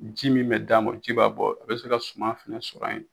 Ji min be d'a ma o ji b'a bɔ a be se ka suman fɛnɛ sɔrɔ ye